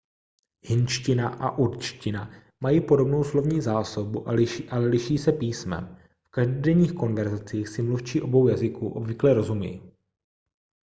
hindština a urdština mají podobnou slovní zásobu ale liší se písmem v každodenních konverzacích si mluvčí obou jazyků obvykle rozumí